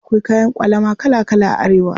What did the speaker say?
Akwai kayan ƙwalama kala kala a Arewa.